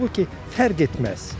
Halbuki fərq etməz.